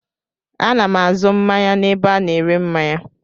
Ana m azụ mmanya n'ebe a na-ere mmanya.